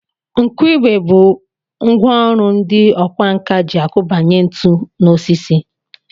Nkụigwe bụ ngwa ọrụ ndị ọkwánka ji akụbanye ntu n'osisi